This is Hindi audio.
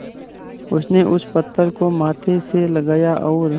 उसने उस पत्थर को माथे से लगाया और